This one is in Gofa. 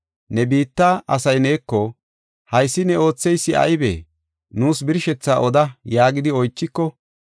Ne biitta asay neeko, ‘Haysi ne ootheysi aybee? Nuus birshethaa oda’ yaagidi oychiko,